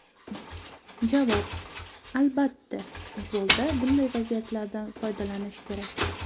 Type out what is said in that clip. Javob: Albatta, futbolda bunday vaziyatlardan foydalanish kerak.